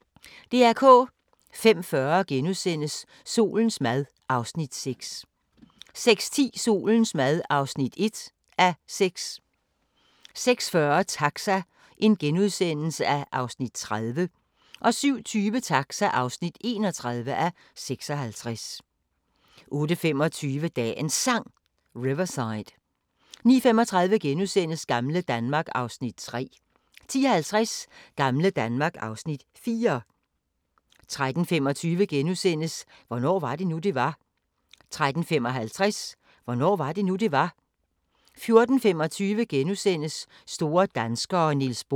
05:40: Solens mad (Afs. 6)* 06:10: Solens mad (1:6) 06:40: Taxa (30:56)* 07:20: Taxa (31:56) 08:25: Dagens Sang: Riverside 09:35: Gamle Danmark (Afs. 3)* 10:50: Gamle Danmark (Afs. 4) 13:25: Hvornår var det nu, det var? * 13:55: Hvornår var det nu, det var? 14:25: Store danskere - Niels Bohr *